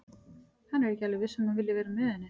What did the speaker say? Hann er ekki alveg viss um að hann vilji vera með henni.